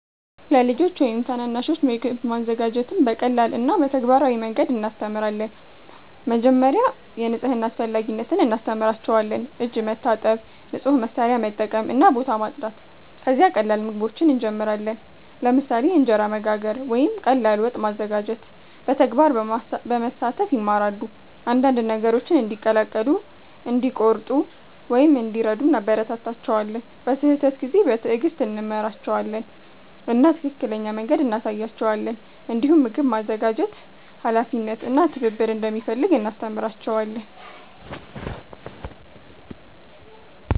ለልጆች ወይም ታናናሾች ምግብ ማዘጋጀትን በቀላል እና በተግባራዊ መንገድ እናስተምራለን። መጀመሪያ የንጽህና አስፈላጊነት እናስተምራቸዋለን፤ እጅ መታጠብ፣ ንጹህ መሳሪያ መጠቀም እና ቦታ ማጽዳት። ከዚያ ቀላል ምግቦችን እንጀምራለን፣ ለምሳሌ እንጀራ መጋገር ወይም ቀላል ወጥ ማዘጋጀት። በተግባር በመሳተፍ ይማራሉ፤ አንዳንድ ነገሮችን እንዲቀላቀሉ፣ እንዲቆርጡ ወይም እንዲረዱ እናበረታታቸዋለን። በስህተት ጊዜ በትዕግስት እንመራቸዋለን እና ትክክለኛ መንገድ እንሳያቸዋለን። እንዲሁም ምግብ ማዘጋጀት ኃላፊነት እና ትብብር እንደሚፈልግ እናስተምራቸዋለን።